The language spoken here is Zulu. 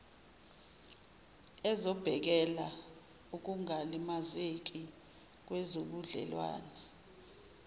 ezobhekela ukungalimazeki kwezobudlelwane